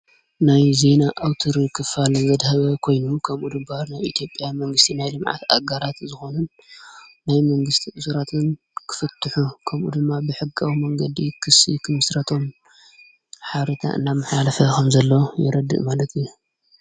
ናይ ዘይና ኣውትር ኽፋልንዘድሃበ ኮይኑ ከምኡ ድምባር ናይ ኢቲጴያ መንግሥቲ ናይ ሊምዓት ኣጋራት ዝኾኑን ናይ መንግሥቲ እሱራትን ክፍትሑ ከምኡ ድማ ብሕጋዊ መንገዲ ክሢ ኽምሥረቶም ሓርታ እናም ሓልፈኹም ዘለ የረድእ ማለትዩ።